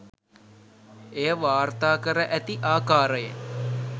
එය වාර්තාකර ඇති ආකාරයෙන්